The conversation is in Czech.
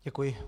Děkuji.